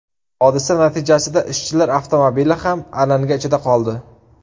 Hodisa natijasida ishchilar avtomobili ham alanga ichida qoldi.